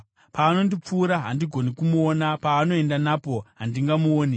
Paanondipfuura, handigoni kumuona; paanoenda napo handingamuoni.